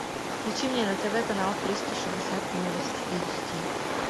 включи мне на тв канал триста шестьдесят новости эйч ди